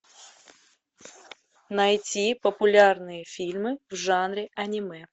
найти популярные фильмы в жанре аниме